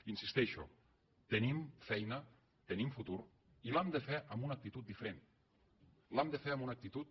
hi insisteixo tenim feina tenim futur i l’hem de fer amb una actitud diferent l’hem de fer amb una actitud